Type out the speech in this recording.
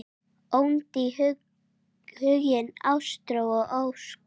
Oddný, Huginn, Ástrós og Ósk.